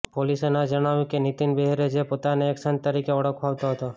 પોલીસે ન જણાવ્યું કે નિતીન બેહરે જે પોતાને એક સંત તરીકે ઓળખાવતો હતો